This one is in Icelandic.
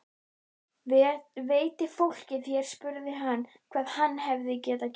Veit fólkið hér spurði hann, hvað hann hefur gert?